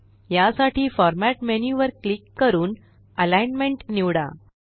यासाठी format menu वर click करून अलिग्नमेंट निवडा